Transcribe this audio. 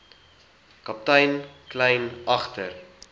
kaptein kleyn agter